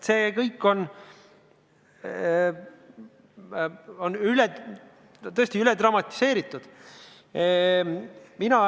See kõik on tõesti üle dramatiseeritud.